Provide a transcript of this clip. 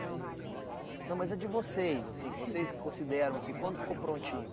Não, mas a de vocês, assim, que vocês consideram assim, quando ficou prontinho?